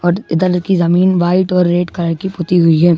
और इधर की जमीन वाइट और रेड कलर की पुती हुई है।